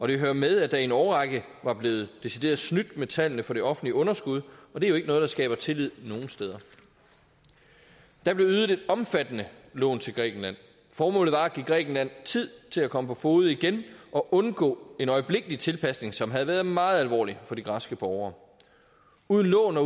hører med at der i en årrække var blevet decideret snydt med tallene for det offentlige underskud og det er jo ikke noget der skaber tillid nogen steder der blev ydet et omfattende lån til grækenland formålet var at give grækenland tid til at komme på fode igen og undgå en øjeblikkelig tilpasning som havde været meget alvorlig for de græske borgere uden lån